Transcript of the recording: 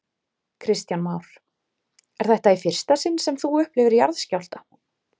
Kristján Már: Er þetta í fyrsta sinn sem þú upplifir jarðskjálfta?